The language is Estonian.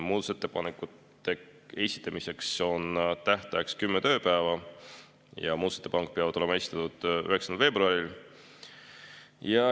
Muudatusettepanekute esitamiseks on kümme tööpäeva, muudatusettepanekud peavad olema esitatud 9. veebruaril.